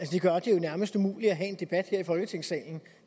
det gør det jo nærmest umuligt at have en debat her i folketingssalen